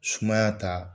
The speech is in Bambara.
Sumaya ta